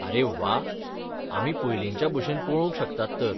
आरे व्वा, आमी पयलींच्या भशेन पळोवंक शकतात तर.